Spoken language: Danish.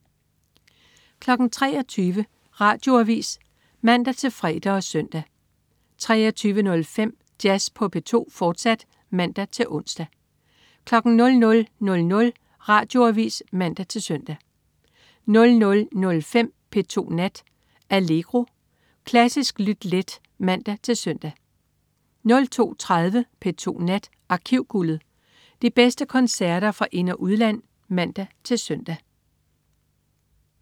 23.00 Radioavis (man-fre og søn) 23.05 Jazz på P2, fortsat (man-ons) 00.00 Radioavis (man-søn) 00.05 P2 Nat. Allegro. Klassisk lyt let (man-søn) 02.30 P2 Nat. Arkivguldet. De bedste koncerter fra ind- og udland (man-søn)